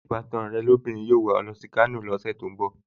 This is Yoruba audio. Ṣé ìbátan ẹ lóbìnrin yóò wà á lọ sí Kano lọ́sẹ̀ tó ń bọ̀?